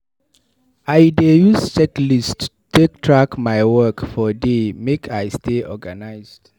I dey use checklists take track my work for day make I stay organized.